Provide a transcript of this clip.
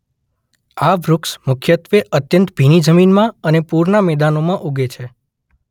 આ વૃક્ષ મુખ્યત્વે અત્યંત ભીની જમીનમાં અને પૂરનાં મેદાનોમાં ઊગે છે.